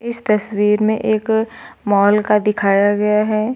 इस तस्वीर में एक मॉल का दिखाया गया है।